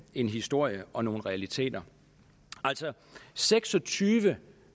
en historie og nogle realiteter altså seks og tyve